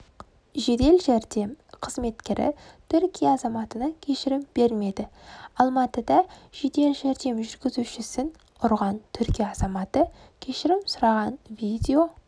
жедел жәрдем қызметкері түркия азаматына кешірім бермеді алматыда жедел жәрдем жүргізушісін ұрғантүркия азаматы кешірім сұраған видео